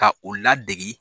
Ka u ladegi.